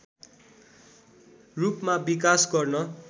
रूपमा विकास गर्न